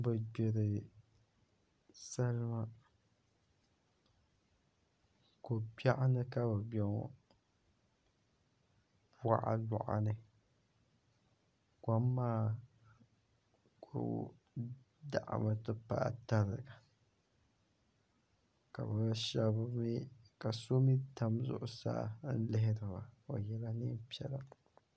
Bi gbiri salima ko biɛɣu ni ka bi bɛ ŋo boɣaboɣa ni kom maa ku daɣami ti paai tariga ka so mii tam zuɣusaa n lihiriba o yɛla neen piɛla